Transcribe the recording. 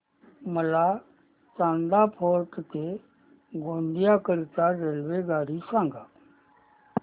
मला चांदा फोर्ट ते गोंदिया करीता रेल्वेगाडी सांगा